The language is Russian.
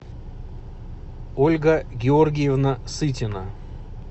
ольга георгиевна сытина